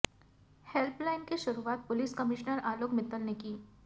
help line की शुरुआत police commissioner Alok Mittal ने की